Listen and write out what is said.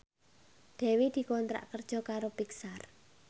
Dewi dikontrak kerja karo Pixar